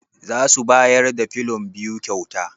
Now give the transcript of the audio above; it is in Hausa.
Zasu bayar da filon biyu kyauta?